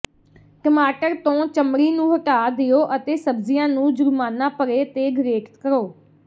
ਟਮਾਟਰ ਤੋਂ ਚਮੜੀ ਨੂੰ ਹਟਾ ਦਿਓ ਅਤੇ ਸਬਜ਼ੀਆਂ ਨੂੰ ਜੁਰਮਾਨਾ ਭਰੇ ਤੇ ਗਰੇਟ ਕਰੋ